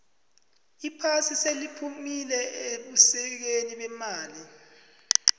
iphasi seliphumile ebusikeni bemali